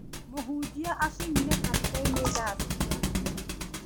Mũhunjia akinyire kanitha-inĩ thaa cigana?